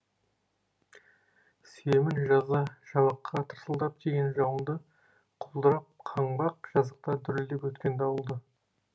сүйемін жазда жабыққа тырсылдап тиген жауынды құлдырап қаңбақ жазықта дүрілдеп өткен дауылды